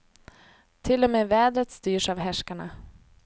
Till och med vädret styrs av härskarna.